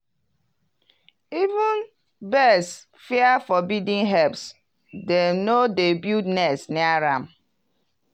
even birds fear forbidden herbs dem no dey build nest near dem.